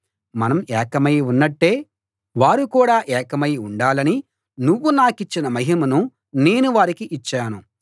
మనం ఏకమై ఉన్నట్టే వారు కూడా ఏకమై ఉండాలని నువ్వు నాకిచ్చిన మహిమను నేను వారికి ఇచ్చాను